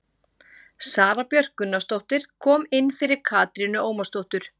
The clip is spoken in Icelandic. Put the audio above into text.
Sara Björk Gunnarsdóttir kom inn fyrir Katrínu Ómarsdóttur.